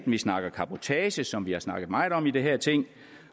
vi snakker cabotage som vi har snakket meget om i det her ting